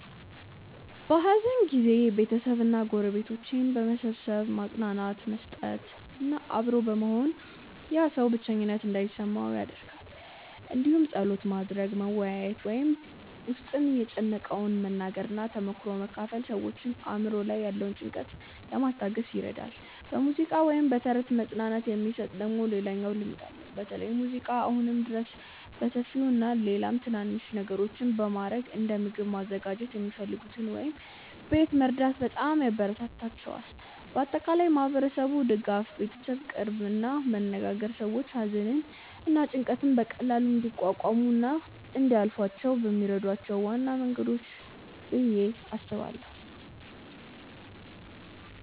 በሐዘን ጊዜ ቤተሰብ እና ጎረቤቶች በመሰብሰብ መጽናናት መስጠት እና አብሮ መሆን ያ ሰው ብቸኝነት እንዳይሰማው ይደረጋል እንዲሁም ጸሎት ማድረግ፣ መወያየት ወይም በ ውስጥን የጨነቀውን መናገር እና ተሞክሮ መካፈል ሰዎችን አእምሮ ላይ ያለውን ጭንቀት ለማስታገስ ይረዳል። በሙዚቃ ወይም በተረት መጽናናት የሚሰጥ ደግሞ ሌላኛው ልምድ አለ በተለይ ሙዚቃ አሁንም ድረስ በሰፊው አለ። ሌላም ትናናንሽ ነገሮች በማረግ እንደ ምግብ ማዘጋጀት የሚፈልጉትን ወይም ቤት መርዳት በጣም ያበራታታቸዋል። በአጠቃላይ ማህበረሰቡ ድጋፍ፣ ቤተሰብ ቅርርብ እና መነጋገር ሰዎች ሐዘንን እና ጭንቀትን በቀላሉ እንዲቋቋሙ እና እንዲያልፏ የሚረዷቸው ዋና መንገዶች ናቸው ብዬ አስባለው።